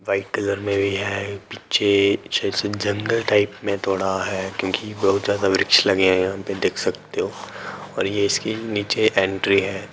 White colour में भी है पीछे पीछे से जांगल टाइप में थोड़ा है क्योंकि बहुत ज्यादा वृछ लगे है यहाँ पे देख सकते हो और ये इसकी नीची एंट्री है।